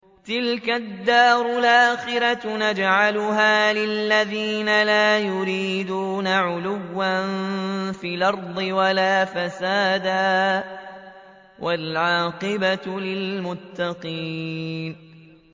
تِلْكَ الدَّارُ الْآخِرَةُ نَجْعَلُهَا لِلَّذِينَ لَا يُرِيدُونَ عُلُوًّا فِي الْأَرْضِ وَلَا فَسَادًا ۚ وَالْعَاقِبَةُ لِلْمُتَّقِينَ